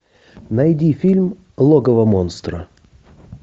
найди фильм логово монстра